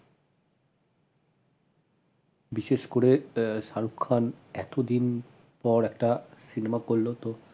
বিশেষ করে এর শাহরুখ খান এতদিন পর একটা cinema করল তো